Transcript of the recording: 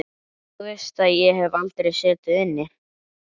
Þú veist að ég hef aldrei setið inni.